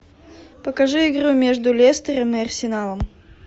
покажи игру между лестером и арсеналом